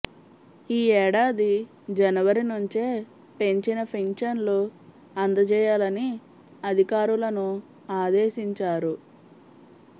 ఈ ఏడాది జనవరి నుంచే పెంచిన పింఛన్లు అందజేయాలని అధికారులను ఆదేశించారు